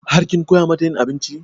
Har kin koya mata yin abinci?